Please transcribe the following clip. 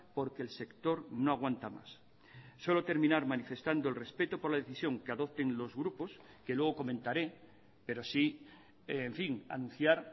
porque el sector no aguanta más solo terminar manifestando el respeto por la decisión que adopten los grupos que luego comentaré pero sí en fin anunciar